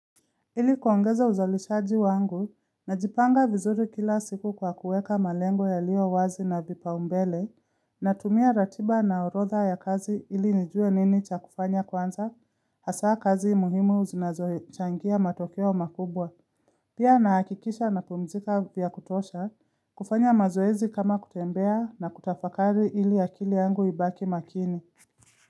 Ili kuongeza uzalishaji wangu na jipanga vizuri kila siku kwa kuweka malengo ya lio wazi na vipa umbele na tumia ratiba na orotha ya kazi ili nijue nini cha kufanya kwanza hasa kazi muhimu uzinazoe changia matokeo makubwa. Pia na hakikisha na pumzika vya kutosha kufanya mazoezi kama kutembea na kutafakari ili akili yangu ibaki makini.